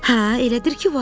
Hə, elədir ki, var.